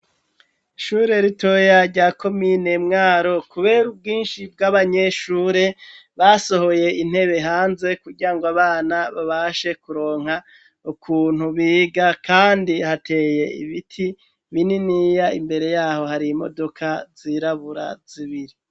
Ishure ritoya rya komine mwaro kuber' ubwinshi bw'abanyeshure ,basohoye intebe hanze kugirangw' abana babashe kuronka ukuntu biga kandi hateye ibiti bininiya imbere yaho har' imodoka zirabura zibiri